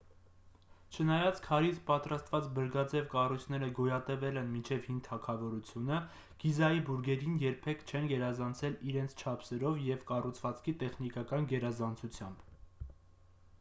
չնայած քարից պատրաստված բրգաձև կառույցները գոյատևել են մինչև հին թագավորությունը գիզայի բուրգերին երբեք չեն գերազանցել իրենց չափսերով և կառուցվածքի տեխնիկական գերազանցությամբ